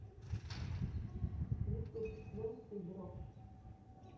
ютуб найти брокш